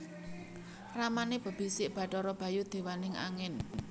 Ramané bebisik Bathara Bayu déwaning angin